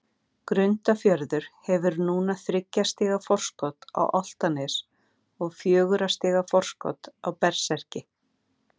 Grundarfjörður hefur núna þriggja stiga forskot á Álftanes og fjögurra stiga forskot á Berserki.